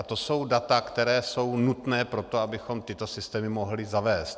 A to jsou data, která jsou nutná pro to, abychom tyto systémy mohli zavést.